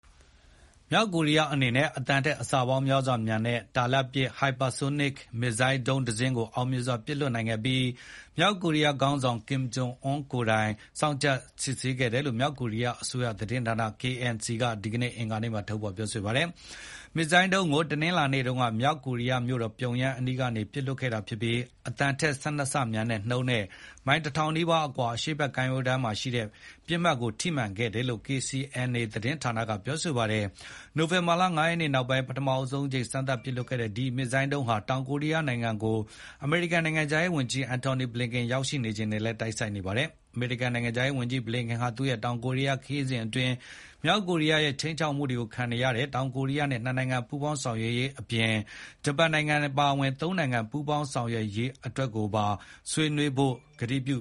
မြောက်ကိုရီးယားအနေနဲ့ အသံထက်အဆပေါင်းများစွာမြန်တဲ့ တာလတ်ပစ် ဟိုက်ပါဆိုးနစ် (Hypersonic) ပဲ့ထိန်း မစ်ဇိုင်းဒုံးတစင်းကိုအောင်မြင်စွာပစ်လွှတ်နိုင်ခဲ့ပြီး မြောက်ကိုရီးယား ခေါင်းဆောင် ကင်ဂျုံအွန်းကိုယ်တိုင် စောင့်ကြည့်စစ်ဆေးခဲ့တယ်လို့ မြောက်ကိုရီးယားအစိုးရ သတင်းဌာန KCNA က ဒီကနေ့ အင်္ဂါမှာထုတ်ဖေါ်ပြောဆိုပါတယ်။ ဒီမစ်ဇိုင်ဒုံးကို တနင်္လာနေ့တုန်းက မြောက်ကိုရီးယားမြို့တော်ပြုံယမ်းအနီးကနေ ပစ်လွှတ်ခဲ့တာဖြစ်ပြီး အသံထက် ၁၂ ဆမြန်တဲ့နှုန်းနဲ့ မိုင် ၁,၀၀၀ နီးပါးအကွာ အရှေ့ဘက်ကမ်းရိုးတန်းမှာရှိတဲ့ ပစ်မှတ်ကို ထိမှန်ခဲ့တယ်လို့ KCNA သတင်း ဌာနကဖေါ်ပြပါတယ်။ နိုဝင်ဘာလ ၅ ရက်နေ့နောက်ပိုင်း ပထမဆုံးအကြိမ်စမ်းသပ်ပစ်လွှတ်ခဲ့တဲ့ ဒီမစ်ဇိုင်းဒုံးဟာ တောင် ကိုရီးယားနိုင်ငံကို အမေရိကန် နိုင်ငံခြားရေးဝန်ကြီး Antony Blinken ရောက်ရှိနေချိန်နဲ့လည်း တိုက်ဆိုင်နေပါတယ်။ အမေရိကန်နိုင်ငံခြားရေးဝန်ကြီးဘလင်ကန်ဟာ သူ့ရဲ့ တောင်ကိုရီးယား ခရီးစဉ်အတွင်း မြောက်ကိုရီးယားရဲ့ ခြိမ်းခြောက်မှုကိုခံနေရတဲ့ တောင်ကိုရီးယားနဲ့ နှစ်နိုင်ငံ ပူးပေါင်းဆောင်ရွက်ရေးအပြင် ဂျပန်အပါအဝင် သုံးနိုင်ငံပူးပေါင်းဆောင်ရွက်ရေးအတွက်ပါဆွေးနွေး ကတိပြ